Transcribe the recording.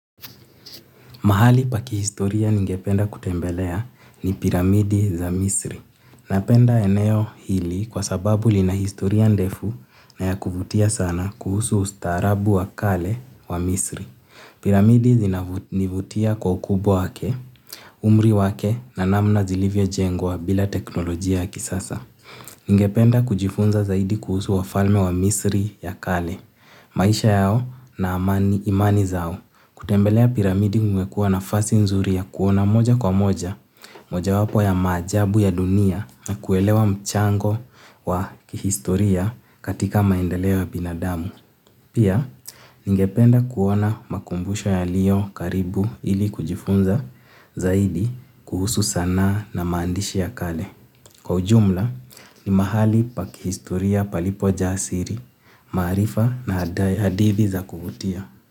Mahali paki historia ningependa kutembelea ni piramidi za misri. Napenda eneo hili kwa sababu li na historia ndefu na ya kufutia sana kuhusu ustarabu wa kale wa misri. Piramidi zinavutia kwa ukubwa wake, umri wake na namna zilivyo jengwa bila teknolojia ya kisasa. Ningependa kujifunza zaidi kuhusu wa falme wa misri ya kale. Maisha yao na amani imani zao. Kutembelea piramidi mwekua nafasi nzuri ya kuona moja kwa moja, moja wapo ya majabu ya dunia na kuelewa mchango wa kihistoria katika maendelewo binadamu. Pia, ningependa kuona makumbusho ya liyo karibu ili kujifunza zaidi kuhusu sana na maandishi ya kale. Kwa ujumla, ni mahali pa kihistoria palipo jasiri, maarifa na hadithi za kuvutia.